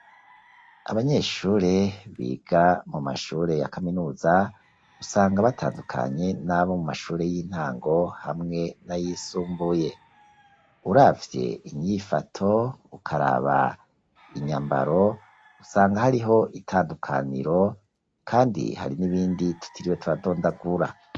abanyeshure biga mu mashure ya kaminuza usanga batandukanye n'abo mu mashure y'intango hamwe na yisumbuye, uravye inyifato ukaraba inyambaro usanga hariho itandukaniro kandi hari n'ibindi tutiriwe turatondagura.